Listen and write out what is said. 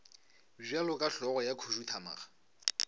bjalo ka hlogo ya khuduthamaga